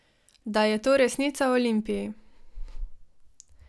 Da je to resnica o Olimpiji.